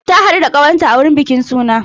Na haɗu da ƙawa ta a wurin bikin suna.